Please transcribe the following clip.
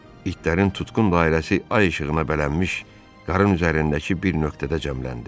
İtlərin tutqun dairəsi ay işığına bələnmiş qarın üzərindəki bir nöqtədə cəmləndi.